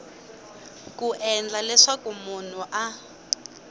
ku endla leswaku munhu a